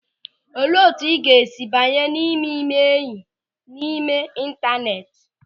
Olee etu ị ga-esi banye n'ime ịme enyị n'ime intaneeti?